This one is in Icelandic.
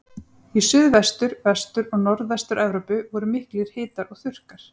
Í Suðvestur-, Vestur- og Norðvestur-Evrópu voru miklir hitar og þurrkar.